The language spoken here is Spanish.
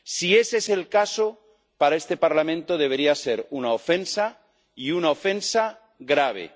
Si ese es el caso, para este Parlamento debería ser una ofensa, y una ofensa grave.